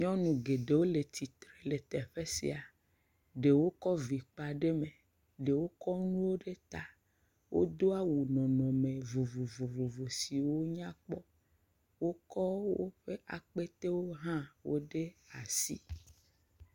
Nyɔnu geɖewo le tsitre le teƒe sia. Ɖewo kɔ vi kpa ɖe me. Ɖewo kɔ nuwo ɖe ta. Wodo awu nɔnɔme vovovovo siwo nya kpɔ. Wokɔ woƒe akpetewo hã wo ɖe asi.